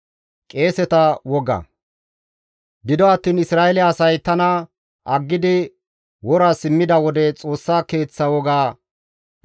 « ‹Gido attiin Isra7eele asay tana aggidi, wora simmida wode, Xoossa Keeththa woga